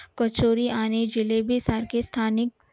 कचोरी आणि सारखे स्थानिक